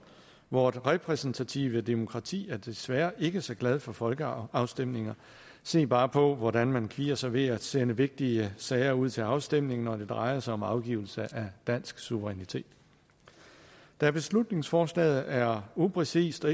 vort repræsentative demokrati er desværre ikke så glad for folkeafstemninger se bare på hvordan man kvier sig ved at sende vigtige sager ud til afstemning når det drejer sig om afgivelse af dansk suverænitet da beslutningsforslaget er upræcist og